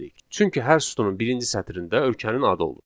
Çünki hər sütunun birinci sətrində ölkənin adı olur.